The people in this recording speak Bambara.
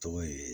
Tɔgɔ ye